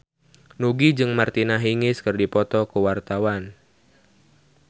Nugie jeung Martina Hingis keur dipoto ku wartawan